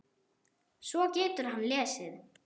Svo getur hann lesið.